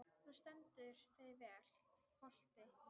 Þú stendur þig vel, Holti!